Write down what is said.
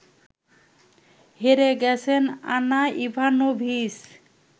হেরে গেছেন Anna Ivanovic